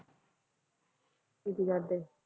ਕੀ ਕਰਦੇ